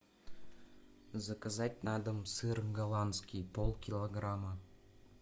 заказать на дом сыр голландский полкилограмма